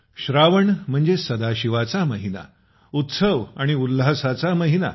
श्रावण म्हणजे सदाशिवाचा महिना उत्सव आणि उल्हासाचा महिना